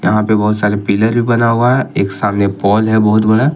यहां पे बहुत सारे पिलर भी बना हुआ है एक सामने पोल है बहुत बड़ा।